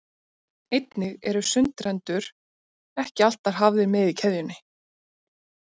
einnig eru sundrendur ekki alltaf hafðir með í keðjunni